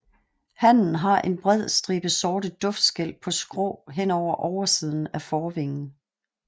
Hannen har en bred stribe sorte duftskæl på skrå hen over oversiden af forvingen